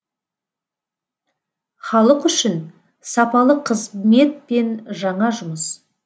халық үшін сапалы қызмет пен жаңа жұмыс